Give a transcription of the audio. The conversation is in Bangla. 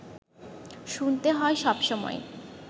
শুনতে হয় সবসময়